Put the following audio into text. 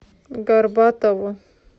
горбатову